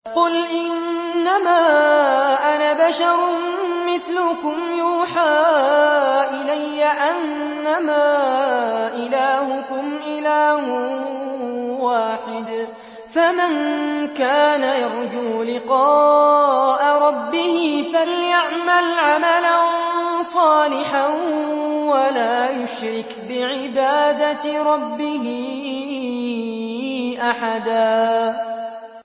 قُلْ إِنَّمَا أَنَا بَشَرٌ مِّثْلُكُمْ يُوحَىٰ إِلَيَّ أَنَّمَا إِلَٰهُكُمْ إِلَٰهٌ وَاحِدٌ ۖ فَمَن كَانَ يَرْجُو لِقَاءَ رَبِّهِ فَلْيَعْمَلْ عَمَلًا صَالِحًا وَلَا يُشْرِكْ بِعِبَادَةِ رَبِّهِ أَحَدًا